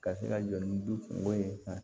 Ka se ka jɔ ni duko ye sa